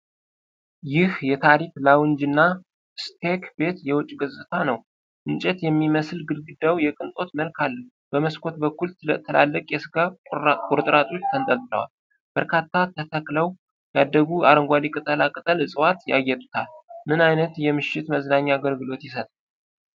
ይህ የ ታሪክ ላውንጅ እና ስቴክ ቤት የውጭ ገጽታ ነው። እንጨት የሚመስል ግድግዳው የቅንጦት መልክ አለው። በመስኮት በኩል ትላልቅ የስጋ ቁርጥራጮች ተንጠልጥለዋል። በርካታ ተተክለው ያደጉ አረንጓዴ ቅጠላ ቅጠል ዕጽዋት ያጌጡታል። ምን አይነት የምሽት መዝናኛ አገልግሎት ይሰጣል?